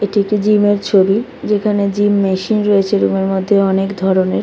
এত একটি জিম এর ছবি যেখানে জিম মেশিন রয়েছে রুম এর মধ্যে অনেক ধরণের ।